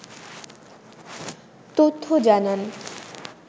তথ্য জানান